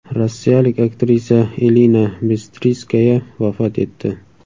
Rossiyalik aktrisa Elina Bistriskaya vafot etdi.